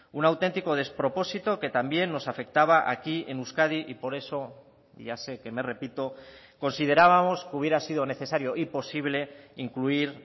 un auténtico despropósito que también nos afectaba aquí en euskadi y por eso ya sé que me repito considerábamos que hubiera sido necesario y posible incluir